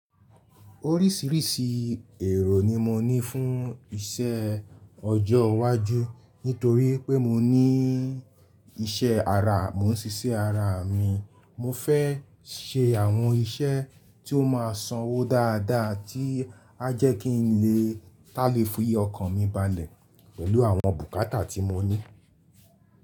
Orísìírísìí èrò ni mo ní fún iṣẹ́ ọjọ́ iwájú. Nítorí pé mo ní iṣẹ́ ara, mò ń ṣiṣẹ́ ara mi. Mo fẹ́ ṣe àwọn iṣẹ́ tí ó ma sanwó dáadáa tí a jẹ́ kí n lè tàle fi okan mi balẹ̀ pẹ̀lú àwọn bùkátà tí mo ní.